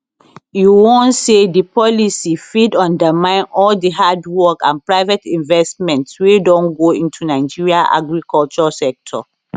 e warn say di policy fit undermine all di hard work and private investments wey don go into nigeria agriculture sector